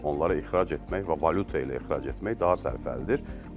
Onları ixrac etmək və valyuta ilə ixrac etmək daha sərfəlidir.